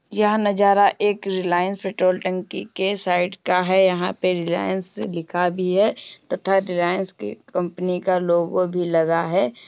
यह नज़ारा एक रिलायंस पेट्रोल टंकी के साइड का है। यहां पर रिलायंस लिखा भी है तथा रिलायंस क कंपनी का लोगो भी लगा है।